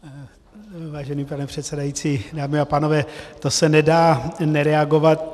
Vážený pane předsedající, dámy a pánové, to se nedá nereagovat.